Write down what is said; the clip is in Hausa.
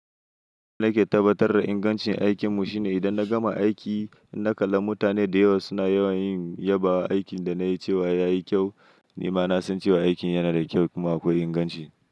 Ni ke tabbatar da ingancin aikin mu shine idan na gama aiki, na kalla mutane da yawa suna yawan yin yaba wa aikin da na yi cewa ya yi kyau. Ni ma na san cewa aikin yana da kyau kuma akwai inganci.